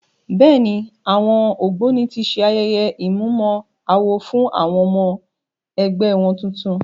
Bẹ́ẹ̀ ni, àwọn Ògbóni ti ṣe ayẹye ìmúmọ-awo fún àwọn ọmọ-ẹgbẹ́ wọn tuntun.